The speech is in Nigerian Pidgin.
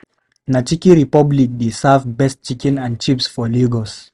Na Chicken Republic dey serve best chicken and chips for Lagos.